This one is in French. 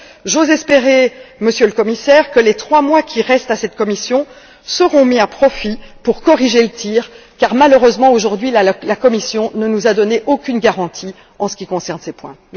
J'ose espérer, Monsieur le Commissaire, que les trois mois qui restent à cette Commission seront mis à profit pour corriger le tir car, malheureusement aujourd'hui, la Commission ne nous a donné aucune garantie en ce qui concerne ces points.